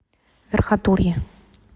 верхотурье